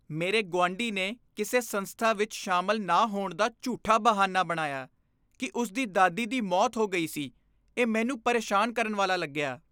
ਮੇਰੇ ਗੁਆਂਢੀ ਨੇ ਕਿਸੇ ਸੰਸਥਾ ਵਿੱਚ ਸ਼ਾਮਲ ਨਾ ਹੋਣ ਦਾ ਝੂਠਾ ਬਹਾਨਾ ਬਣਾਇਆ ਕਿ ਉਸ ਦੀ ਦਾਦੀ ਦੀ ਮੌਤ ਹੋ ਗਈ ਸੀ, ਇਹ ਮੈਨੂੰ ਪਰੇਸ਼ਾਨ ਕਰਨ ਵਾਲਾ ਲੱਗਿਆ।